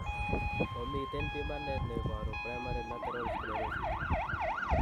Momiten pimanet neboru primary lateral sclerosis